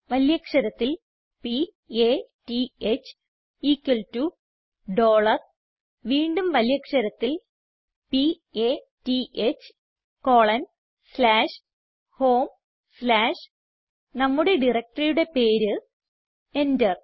വലിയ അക്ഷരത്തിൽ p a t h equal to dollar വീണ്ടും വലിയ അക്ഷരത്തിൽ p a t h colon slash home slash നമ്മുടെ directoryയുടെ പേര് എന്റർ